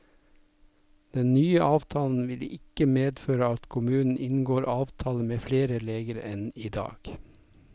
Den nye avtalen vil ikke medføre at kommunen inngår avtale med flere leger enn i dag.